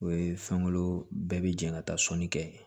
O ye fɛnkolo bɛɛ bɛ jɛ ka taa sɔnni kɛ